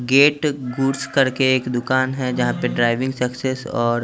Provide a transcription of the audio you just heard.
gate गुर्ज करके एक दुकान हैं जहाँ पे ड्राइविंग सक्सेश --